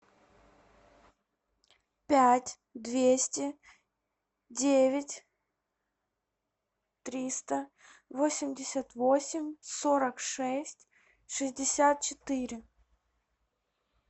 пять двести девять триста восемьдесят восемь сорок шесть шестьдесят четыре